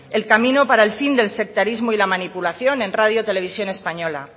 el camino para el fin del sectarismo y de la manipulación en rtve